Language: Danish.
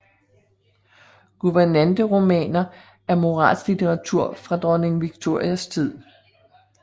Guvernanteromaner er moralsk litteratur fra dronning Victorias tid